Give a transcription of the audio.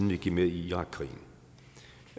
vi gik med i irakkrigen